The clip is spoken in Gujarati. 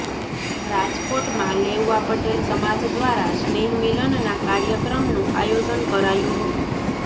રાજકોટમાં લેઉવા પટેલ સમાજ દ્વારા સ્નેહમિલનના કાર્યક્રમનું આયોજન કરાયું હતું